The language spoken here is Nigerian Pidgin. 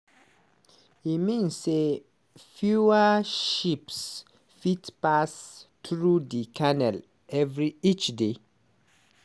e mean say fewer ships fit pass through di canal every each day.